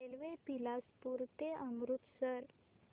railway Bilaspur ते अमृतसर